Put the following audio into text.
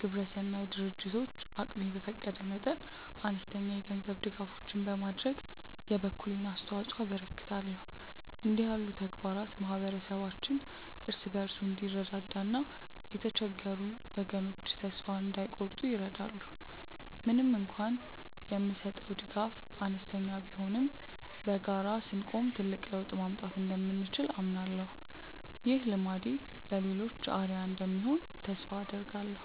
ግብረሰናይ ድርጅቶች አቅሜ በፈቀደ መጠን አነስተኛ የገንዘብ ድጋፎችን በማድረግ የበኩሌን አስተዋጽኦ አበረክታለሁ። እንዲህ ያሉ ተግባራት ማኅበረሰባችን እርስ በርሱ እንዲረዳዳና የተቸገሩ ወገኖች ተስፋ እንዳይቆርጡ ይረዳሉ። ምንም እንኳን የምሰጠው ድጋፍ አነስተኛ ቢሆንም በጋራ ስንቆም ትልቅ ለውጥ ማምጣት እንደምንችል አምናለሁ። ይህ ልማዴ ለሌሎችም አርአያ እንደሚሆን ተስፋ አደርጋለሁ።